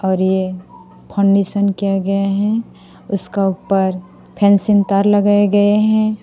और ये किया गया है उसका ऊपर फेंसिंग तार लगाए गए हैं।